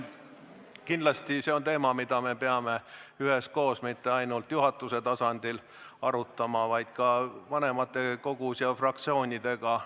Kindlasti see on teema, mida me peame üheskoos, mitte ainult juhatuse tasandil arutama, vaid ka vanematekogus ja fraktsioonidega.